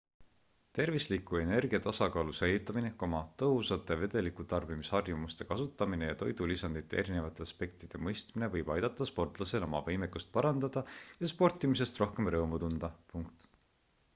tervisliku energiatasakaalu säilitamine tõhusate vedelikutarbimisharjumuste kasutamine ja toidulisandite erinevate aspektide mõistmine võib aidata sportlasel oma võimekust parandada ja sportimisest rohkem rõõmu tunda